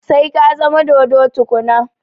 Sai ka zama dodo tukuna